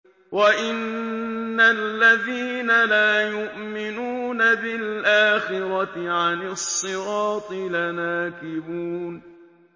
وَإِنَّ الَّذِينَ لَا يُؤْمِنُونَ بِالْآخِرَةِ عَنِ الصِّرَاطِ لَنَاكِبُونَ